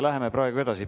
Läheme praegu edasi.